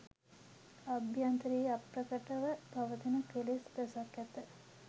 අභ්‍යන්තරයෙහි අප්‍රකට ව පවතින කෙලෙස් රැසක් ඇත.